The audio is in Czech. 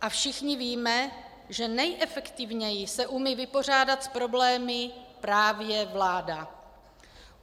A všichni víme, že nejefektivněji se umí vypořádat s problémy právě vláda.